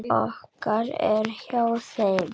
Hugur okkar er hjá þeim.